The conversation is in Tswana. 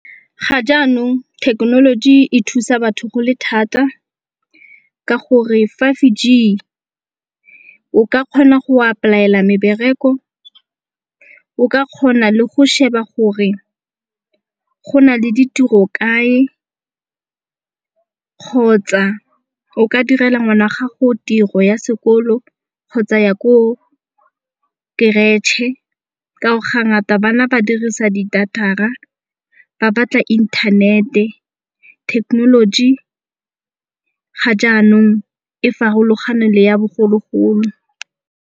Ga jaanong thekenoloji e thusa batho go le thata ka gore five G o ka kgona go apply-ela mebereko, o ka kgona le go sheba gore go na le ditiro kae kgotsa o ka direla ngwana gago tiro ya sekolo kgotsa ya ko keretšhe. Ka gore ga ngata bana ba dirisa tsa di data-ra ba batla internet-e. Technology ga jaanong e farologane le ya bogologolo.